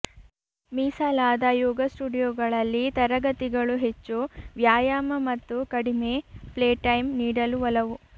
ಮೀಸಲಾದ ಯೋಗ ಸ್ಟುಡಿಯೊಗಳಲ್ಲಿ ತರಗತಿಗಳು ಹೆಚ್ಚು ವ್ಯಾಯಾಮ ಮತ್ತು ಕಡಿಮೆ ಪ್ಲೇಟೈಮ್ ನೀಡಲು ಒಲವು